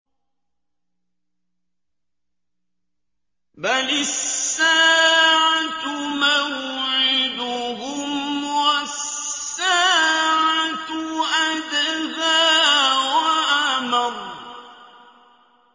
بَلِ السَّاعَةُ مَوْعِدُهُمْ وَالسَّاعَةُ أَدْهَىٰ وَأَمَرُّ